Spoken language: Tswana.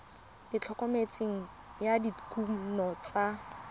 le thomeloteng ya dikuno tsa